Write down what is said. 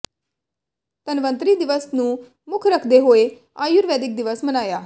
ਧਨਵੰਤਰੀ ਦਿਵਸ ਨੂੰ ਮੁੱਖ ਰੱਖਦੇ ਹੋਏ ਆਯੁਰਵੈਦਿਕ ਦਿਵਸ ਮਨਾਇਆ